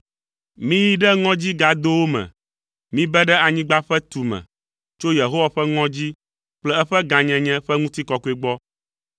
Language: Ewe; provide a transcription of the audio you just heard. Miyi ɖe ŋɔdzigadowo me, mibe ɖe anyigba ƒe tume tso Yehowa ƒe ŋɔdzi kple eƒe gãnyenye ƒe ŋutikɔkɔe gbɔ!